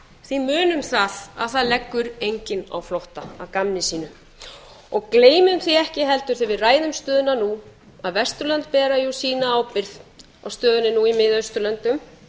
því munum það að það leggur enginn á flótta að gamni sínu gleymum því ekki heldur þegar við ræðum stöðuna nú að vesturlönd bera sína ábyrgð á stöðunni nú í mið austurlöndum